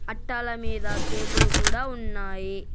అట్టాల మీద కేకులు కూడా ఉన్నాయి.